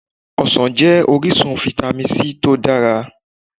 Ọsàn jẹ́ orísun Fítámì C tó dára.